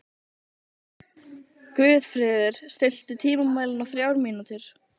Guðfreður, stilltu tímamælinn á þrjár mínútur.